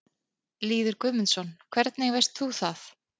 Lýður Guðmundsson: Hvernig veist þú það?